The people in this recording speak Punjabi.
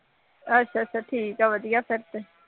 ਅੱਛਾ ਅੱਛਾ ਠੀਕ ਹੈ ਵਧੀਆ ਫੇਰ ਤੇ